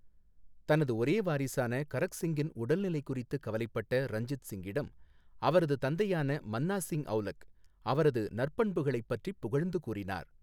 தனது ஒரே வாரிசான கரக் சிங்கின் உடல்நிலை குறித்து கவலைப்பட்ட ரஞ்சித் சிங்கிடம் அவரது தந்தையான மன்னா சிங் ஔலக் அவரது நற்பண்புகளைப் பற்றிப் புகழ்ந்து கூறினார்.